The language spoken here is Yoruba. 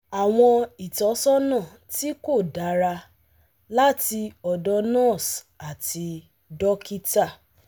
Àwọn ìtọ́sọ́nà tí kò dára láti ọ̀dọ̀ nurse àti dókítà